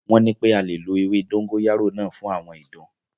Wọ́n nipé a lè lo ewé dógóyárò náà fún àwọn ìdun.